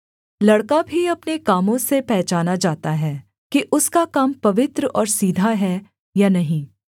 लड़का भी अपने कामों से पहचाना जाता है कि उसका काम पवित्र और सीधा है या नहीं